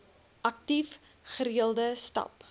aktief gereelde stap